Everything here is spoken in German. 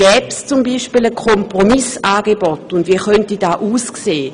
Gäbe es beispielsweise ein Kompromissangebot, und wie könnte dieses aussehen?